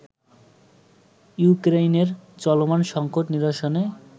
ইউক্রেইনের চলমান সঙ্কট নিরসনে